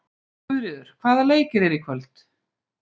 Guðríður, hvaða leikir eru í kvöld?